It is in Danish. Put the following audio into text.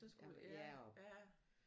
Ja og